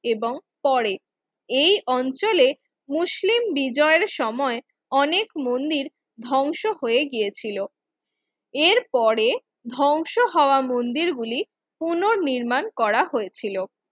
এবং পরে এই অঞ্চলে মুসলিম বিজয়ের সময় অনেক মন্দির ধ্বংস হয়ে গিয়েছিল এর পরে ধ্বংস হওয়া মন্দির গুলি পুনঃনির্মাণ করা হয়েছিল মন্দির ধ্বংস হয়ে গিয়েছিল কোন নির্মাণ করা হয়েছিল এবং পরে